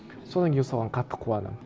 содан кейін соған қатты қуанамын